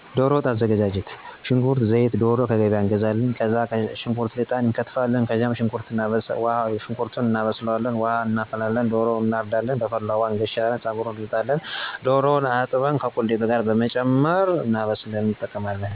ዶሮ ወጥ። በመጀመሪያ ሽንኩርት፣ ዘይትእናዶሮ ከገበያ እንገዛለን። ከገዛንበኋላ ሽንኩርት ተልጦ ይከተፍል፣ ከዚያም የሽንኩርቱንእናበስላለን። ውሀ እናፈላለን፣ ዶሮ ይታረዳል፣ በፈላው ውሀ ይገሸራል፣ ጸጉሩ ይከላል፣ ይገነጣጠላል። የተገነጠለው ዶሮ በደንብ ታጥቦከቁሌቱ ይጨመራል። ዶሮ ወጥ ብዙውን ጊዜ የሚበላው በበአል ነው ለምሳሌ እንቁጣጣሽ፣ በፋሲካ እና በገና ይበላል።